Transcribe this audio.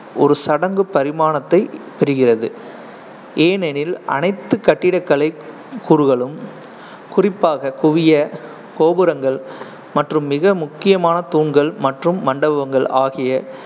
ஒரு சடங்கு பரிமாணத்தை பெறுகிறது, ஏனெனில் அனைத்து கட்டிடக்கலை கூறுகளும், குறிப்பாக குவிய கோபுரங்கள் மற்றும் மிக முக்கியமா தூண்கள் மற்றும் மண்டபங்கள் ஆகிய